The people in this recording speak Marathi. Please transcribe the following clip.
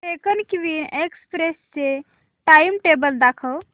डेक्कन क्वीन एक्सप्रेस चे टाइमटेबल दाखव